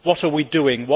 What are we doing?